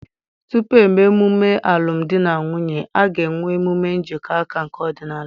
Tupu eme emume alụm di na nwunye, a ga-enwe emume njikọ aka nke ọdịnala.